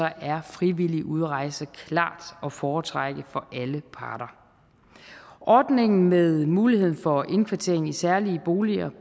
er frivillig udrejse klart at foretrække for alle parter ordningen med muligheden for indkvartering i særlige boliger